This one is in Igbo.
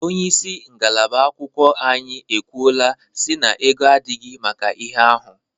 Onyeisi ngalaba agụmakwụkwọ anyi ekwuola si na ego adighi maka ihe ahụ.